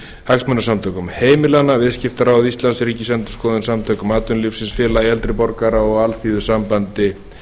hagsmunasamtökum heimilanna viðskiptaráði íslands ríkisendurskoðun samtökum atvinnulífsins félagi eldri borgara og alþýðusambandi